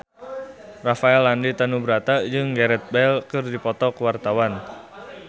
Rafael Landry Tanubrata jeung Gareth Bale keur dipoto ku wartawan